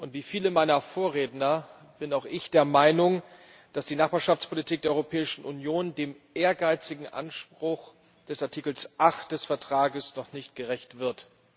Wie viele meiner Vorredner bin auch ich der Meinung, dass die Nachbarschaftspolitik der Europäischen Union dem ehrgeizigen Anspruch des Artikels 8 des Vertrages noch nicht gerecht wird.